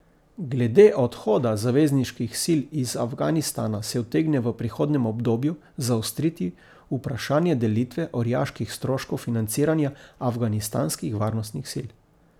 Glede odhoda zavezniških sil iz Afganistana se utegne v prihodnjem obdobju zaostriti vprašanje delitve orjaških stroškov financiranja afganistanskih varnostnih sil.